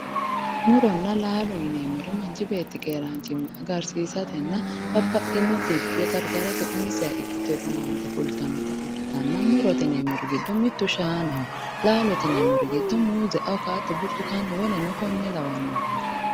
Muronna laalo yineemmori manchi beetti keeraanchimma agarsiisatenna babbaxxino dhibbi gargarsiisate umiseha ikkiteyo owaante fultannota ikkitanna murote yineemmori giddo mittu shaanaho laalote yineemmori giddo muuze awukaato burtukkaane woleno kuri lawannoreeti